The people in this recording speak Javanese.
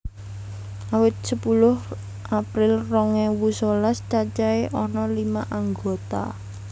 Awit sepuluh April rong ewu sewelas cacahé ana lima anggota